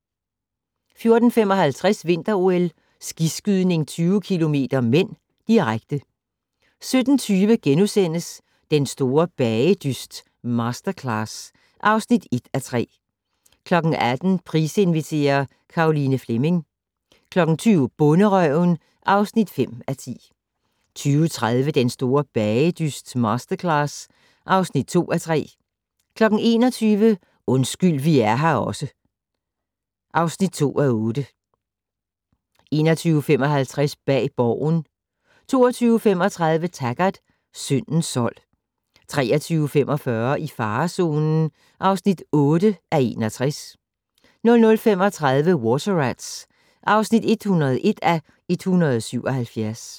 14:55: Vinter-OL: Skiskydning 20 km (m), direkte 17:20: Den store bagedyst - Masterclass (1:3)* 18:00: Price inviterer - Caroline Fleming 20:00: Bonderøven (5:10) 20:30: Den store bagedyst - Masterclass (2:3) 21:00: Undskyld vi er her også (2:8) 21:55: Bag Borgen 22:35: Taggart: Syndens sold 23:45: I farezonen (8:61) 00:35: Water Rats (101:177)